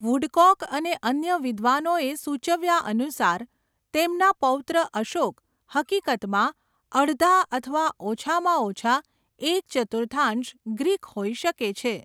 Woodcock અને અન્ય વિદ્વાનોએ સૂચવ્યા અનુસાર, 'તેમના પૌત્ર અશોક હકીકતમાં અડધા અથવા ઓછામાં ઓછા એક ચતુર્થાંશ ગ્રીક હોઈ શકે છે.'